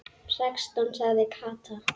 Sextán sagði Kata.